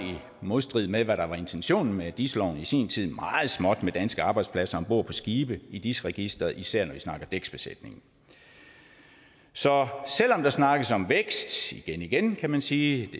modstrid med hvad der var intentionen med dis loven i sin tid meget småt med danske arbejdspladser om bord på skibe i dis registeret især når vi snakker dæksbesætning så selv om der snakkes om vækst igen igen kan man sige